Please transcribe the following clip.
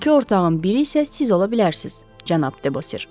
12 ortağın biri isə siz ola bilərsiniz, cənab Debosir.”